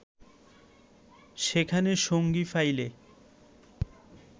সেখানে সঙ্গী পাইলে